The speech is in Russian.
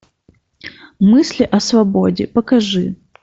мысли о свободе покажи